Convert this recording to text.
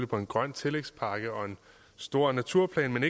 på en grøn tillægspakke og en stor naturplan men